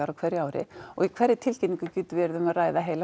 á hverju ári og hverri tilkynningu getur verið um að ræða heila